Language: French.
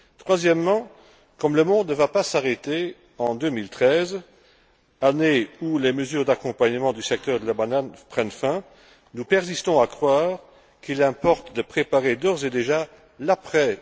Troisièmement, comme le monde ne va pas s'arrêter en 2013, année où les mesures d'accompagnement du secteur de la banane prennent fin, nous persistons à croire qu'il importe de préparer d'ores et déjà l'après